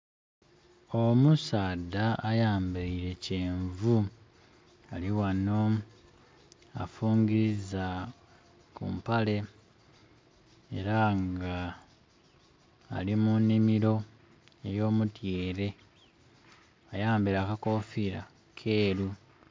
Omusaadha ayambeire kyenvu ali wano afungiza ku mpale era nga ali mu nhimiro ey'omutyere. Ayambeire akakofira keru.